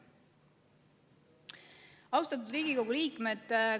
Austatud Riigikogu liikmed!